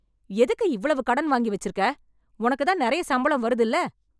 எதுக்கு இவ்வளவு கடன் வாங்கி வச்சிருக்க? உனக்கு தான் நிறைய சம்பளம் வருது இல்ல?